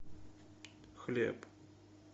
хлеб